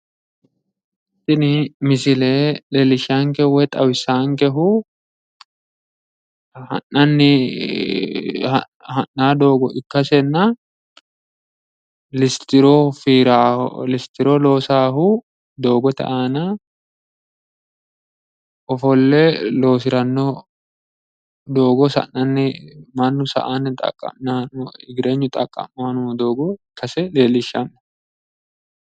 Tini misile leellishshaankehu woyi xawisaankehu ha'nanni ha'nayi doogo ikkasenna listiro fiirawo listiro loosaahu doogote aana ofolle loosiranno doogo sa'nanni mannu sa"anni igirenyu xaqqa'mayi noo doogo ise leellishshanno.